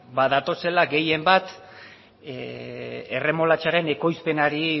ba datozela gehien bat erremolatxaren ekoizpenari